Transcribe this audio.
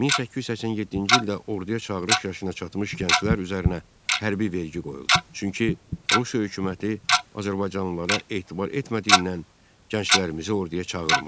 1887-ci ildə orduya çağırış yaşına çatmış gənclər üzərinə hərbi vergi qoyuldu, çünki Rusiya hökuməti azərbaycanlılara etibar etmədiyindən gənclərimizi orduya çağırmırdı.